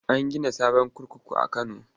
An gina sabon kurkuku a Kano.